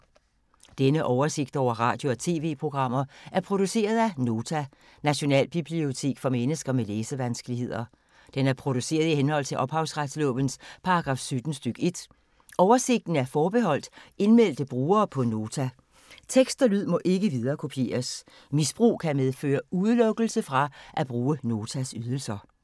Denne oversigt over radio og TV-programmer er produceret af Nota, Nationalbibliotek for mennesker med læsevanskeligheder. Den er produceret i henhold til ophavsretslovens paragraf 17 stk. 1. Oversigten er forbeholdt indmeldte brugere på Nota. Tekst og lyd må ikke viderekopieres. Misbrug kan medføre udelukkelse fra at bruge Notas ydelser.